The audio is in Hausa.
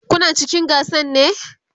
Kuna cikin gasan ne?